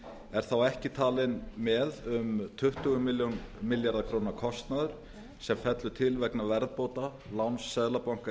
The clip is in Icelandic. er þá ekki talinn með um tuttugu milljarða króna kostnaður sem fellur til vegna verðbóta láns seðlabanka